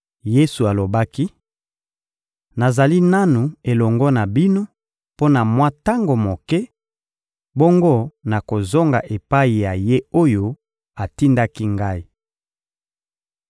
Yesu alobaki: — Nazali nanu elongo na bino mpo na mwa tango moke, bongo nakozonga epai ya Ye oyo atindaki Ngai.